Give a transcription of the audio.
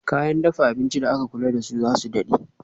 Kayan dafa abinci da aka kula dasu zasu dade